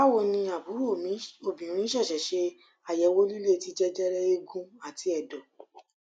bawoni aburo mi obinrin sese se ayewo lile ti jejere eegun ati edo